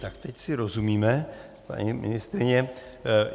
Tak teď si rozumíme, paní ministryně.